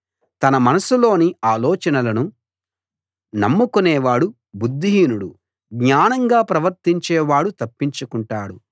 తన మనస్సులోని ఆలోచనలను నమ్ముకునేవాడు బుద్ధిహీనుడు జ్ఞానంగా ప్రవర్తించేవాడు తప్పించుకుంటాడు